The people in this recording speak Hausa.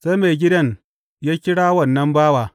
Sai maigidan ya kira wannan bawa.